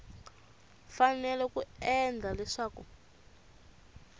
fanele ku endla leswaku ku